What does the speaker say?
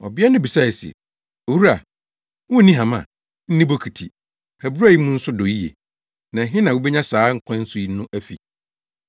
Ɔbea no bisae se, “Owura, wunni hama, nni bokiti; abura yi mu nso dɔ yiye, na ɛhe na wubenya saa nkwa nsu no afi?